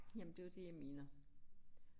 Jamen det jo det jeg mener